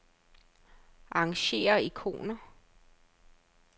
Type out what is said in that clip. Arrangér ikoner.